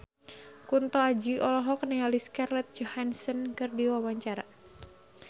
Kunto Aji olohok ningali Scarlett Johansson keur diwawancara